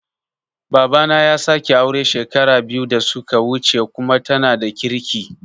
Babana ya sake aure shekara biyu da suka wuce kuma tana da kirki